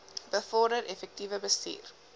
bevorder effektiewe bestuur